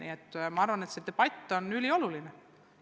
Ma siiski arvan, et see debatt on ülioluline.